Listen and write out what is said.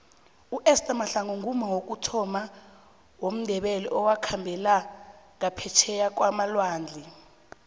uester mahlangu ngumma wokuthoma womndebele owakhambela ngaphetjheya kwamalwandle